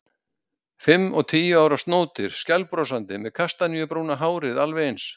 Fimm og tíu ára snótir, skælbrosandi, með kastaníubrúna hárið alveg eins.